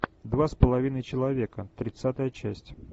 два с половиной человека тридцатая часть